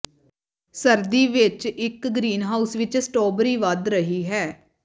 ਸਰਦੀ ਵਿੱਚ ਇੱਕ ਗ੍ਰੀਨਹਾਉਸ ਵਿੱਚ ਸਟ੍ਰਾਬੇਰੀ ਵਧ ਰਹੀ ਹੈ